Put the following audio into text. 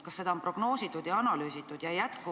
Kas seda on analüüsitud ja prognoositud?